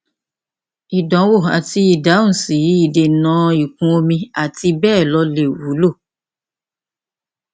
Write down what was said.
ìdánwò àti ìdáhùn sí ìdènàìkún omi àti bẹẹ lọ lè wúlò